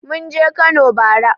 Mun je Kano bara.